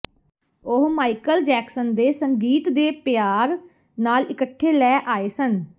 ਉਹ Michael Jackson ਦੇ ਸੰਗੀਤ ਦੇ ਪਿਆਰ ਨਾਲ ਇੱਕਠੇ ਲੈ ਆਏ ਸਨ